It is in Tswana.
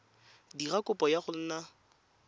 dira kopo ya go nna